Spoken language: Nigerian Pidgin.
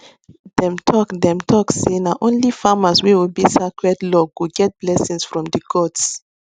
dem talk dem talk say na only farmers wey obey sacred law go get blessing from the gods